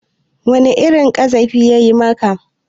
Wani irin ƙazafi ya maka?